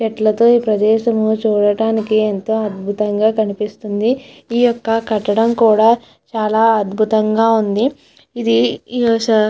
చెట్లతో తో ఈ ప్రదేశము చూడడానికి ఎంతో అద్భుతంగా కనిపిస్తుంది ఈ యొక్క కట్టడం కూడా చాలా అద్భుతంగా ఉంది ఇది ఈ స --